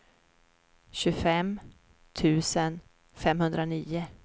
tjugofem tusen femhundranio